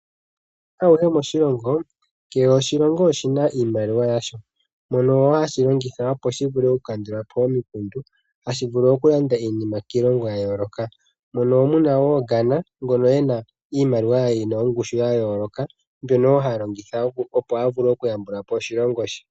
Uuyuni awuhe moshilongo, kehe oshilongo oshina iimaliwa yasho. Mono hashi longitha opo shi vule oku kandulapo omikundu, hashi vulu okulanda iinima kiilongo ya yooloka mono wo muna wo Ghana ngono ena iimaliwa yina ongushu ya yooloka mbyono wo ha longitha opo a vule oku yambula po oshilongo she.